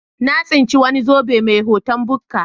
Na tsinci wani zobe mai hoton bukka.